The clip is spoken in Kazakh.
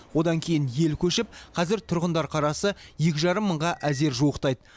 одан кейін ел көшіп қазір тұрғындар қарасы екі жарым мыңға әзер жуықтайды